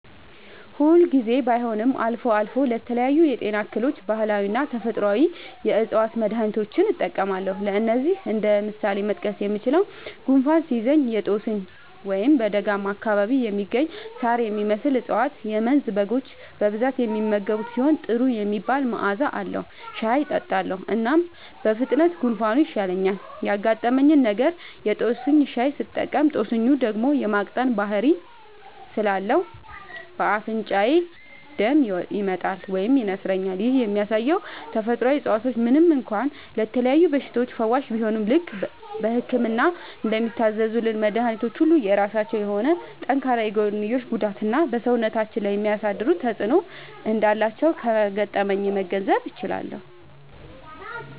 ሁል ጊዜ ባይሆንም አልፎ አልፎ ለተለያዩ የጤና እክሎች ባህላዊና ተፈጥአዊ የ ዕፅዋት መድሀኒቶችን እጠቀማለሁ። ለዚህም እንደ ምሳሌ መጥቀስ የምችለው፣ ጉንፋን ሲይዘኝ የ ጦስኝ (በደጋማ አካባቢ የሚገኝ ሳር የሚመስል እፀዋት - የመንዝ በጎች በብዛት የሚመገቡት ሲሆን ጥሩ የሚባል መዐዛ አለዉ) ሻይ እጠጣለሁ። እናም በፍጥነት ጉንፋኑ ይሻለኛል። ያጋጠመኝ ነገር:- የ ጦስኝ ሻይ ስጠቀም ጦስኙ ደም የ ማቅጠን ባህሪ ስላለው በ አፍንጫዬ ደም ይመጣል (ይነስረኛል)። ይህም የሚያሳየው ተፈጥሮአዊ እፀዋቶች ምንም እንኳ ለተለያዩ በሽታዎች ፈዋሽ ቢሆኑም፣ ልክ በህክምና እንደሚታዘዙልን መድኃኒቶች ሁሉ የራሳቸው የሆነ ጠንካራ የጎንዮሽ ጉዳትና በ ሰውነታችን ላይ የሚያሳድሩት ተጵዕኖ እንዳላቸው ከገጠመኜ መገንዘብ ችያለሁ።